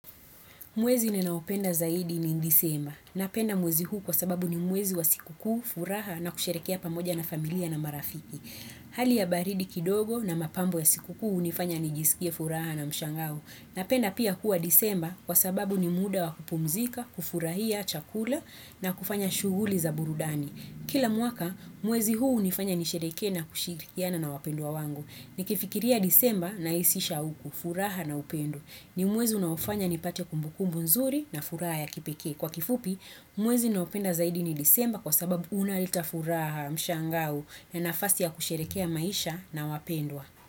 Mwezi ninaopenda zaidi ni disemba. Napenda mwezi huu kwa sababu ni mwezi wa sikukuu, furaha na kusherehekea pamoja na familia na marafiki. Hali ya baridi kidogo na mapambo ya sikukuu hunifanya nijisikie furaha na mshangao. Napenda pia kuwa disemba kwa sababu ni muda wa kupumzika, kufurahia, chakula na kufanya shughuli za burudani. Kila mwaka, mwezi huu hunifanya nisherehekee na kushirikiana na wapendwa wangu. Nikifikiria disemba nahisi shauku, furaha na upendo. Ni mwezi unaofanya nipate kumbukumbu nzuri na furaha ya kipekee. Kwa kifupi, mwezi naopenda zaidi ni disemba kwa sababu unaleta furaha mshangao na nafasi ya kusherehekea maisha na wapendwa.